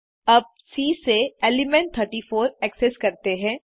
अब सी से element 34 access करते हैं